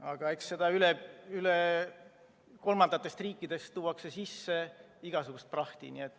Aga eks kolmandatest riikidest tuuakse sisse igasugust prahti.